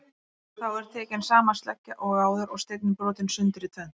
Þá er tekin sama sleggja og áður og steinninn brotinn sundur í tvennt.